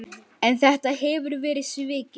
En þetta hefur verið svikið.